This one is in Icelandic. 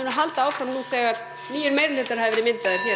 halda áfram nú þegar nýir meirihlutar hafa verið myndaðir hér